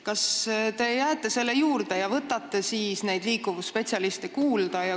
Kas te jääte selle juurde ja võtate neid liikuvusspetsialiste kuulda?